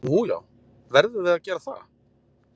Nú já, verðum við að gera það?